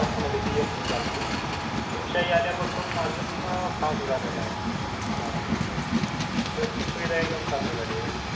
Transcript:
जास्त म्हणजे PMC चालती शिवशाही आल्या पासून अं अजून fast झालेला आहे transport बसची speed आहे चांगली झाली आहे